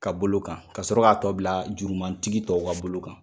Ka bolo kan ka sɔrɔ k'a tɔ bila jurumantigi tɔw ka bolo kan.